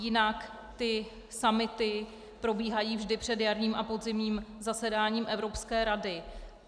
Jinak ty summity probíhají vždy před jarním a podzimním zasedáním Evropské rady.